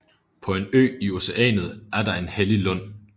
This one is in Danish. På en ø i Oceanet er der en hellig lund